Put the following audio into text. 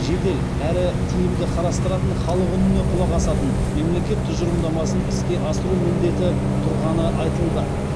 жедел әрі тиімді қарастыратын халық үніне құлақ асатын мемлекет тұжырымдамасын іске асыру міндеті тұрғаны айтылды